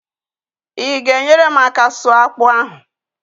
I gaara enyere m aka sụọ akpụ ahụ?